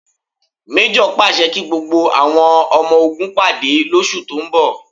Méjọ̀ pàṣẹ kí gbogbo àwọn ọmọ ogun pàdé lóṣù tó ń bọ̀